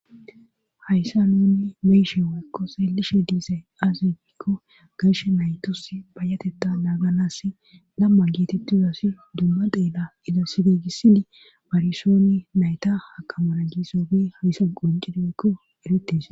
Hayssa nunni meyshe waekko seelishe diisey aazefikko gayshe naytos bayatetta laaganas lamma gietettuzasi dumma deela ida sibegisidi barsooni nayta hakamana giissobe hayssa quncideykko erettis